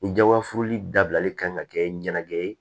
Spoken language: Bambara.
Ni jabafurunin dabilali kan ka kɛ ɲɛnajɛ ye